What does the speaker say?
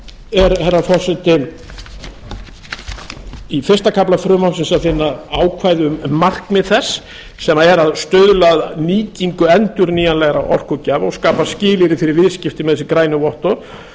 þá herra forseti er í fyrsta kafla frumvarpsins að finna ákvæði um markmið þess sem er að stuðla að nýtingu endurnýjanlegra orkugjafa og skapa skilyrði fyrir viðskipti með þessu grænu vottorð